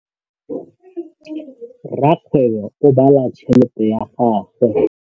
Rakgwêbô o bala tšheletê ya gagwe.